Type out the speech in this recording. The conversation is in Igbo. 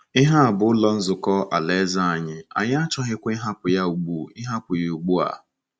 Ihe a bụ Ụlọ Nzukọ Alaeze anyị, anyị achọghịkwa ịgbahapụ ya ugbu ịgbahapụ ya ugbu a. ”